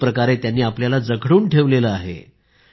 एक प्रकारे त्यांनी आपल्याला जखडून ठेवले आहे